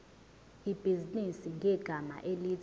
ibhizinisi ngegama elithi